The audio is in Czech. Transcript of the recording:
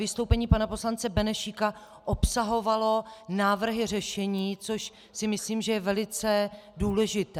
Vystoupení pana poslance Benešíka obsahovalo návrhy řešení, což si myslím, že je velice důležité.